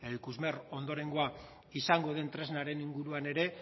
ikusmer ondorengoa izango den tresnaren inguruan ere